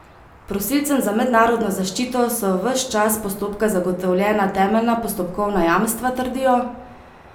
Prosilcem za mednarodno zaščito so ves čas postopka zagotovljena temeljna postopkovna jamstva, trdijo.